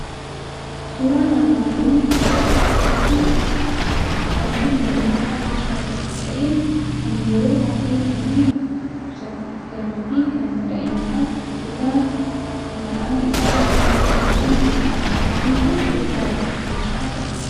Suuraan armaan olii kun suuraa akaakuu dhugaatii lallaafaa keessaa tokko ta'e, kan yeroo baay'ee namoonni dhukkubsatan dhuganii fi kan daa'imman dhugan maqaan isaa Faantaa jedhamuun beekamudha. Faantaan sukkaara of keessaa qaba.